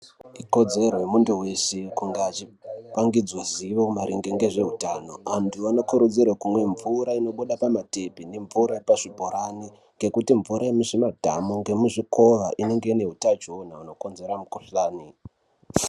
Ikodzero yemuntu vese kunga achipangidzwa zivo maringe ngezvehutano. Vantu vanokurudzirwe kumwa mvura inobuda pamatepi nemvura yepazvibhorani ngekuti mvura yemuzvimadhamu ngemuzvikova inenge ine hutachiona hunokonzera mukushani.